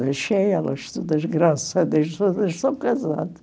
Deixei elas, todas, graças a Deus, todas estão casada.